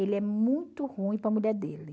Ele é muito ruim para a mulher dele.